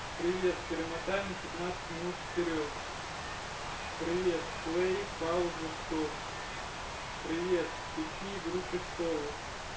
привет перемотай на семнадцать минут вперёд привет плэй пауза стоп привет включи игру престолов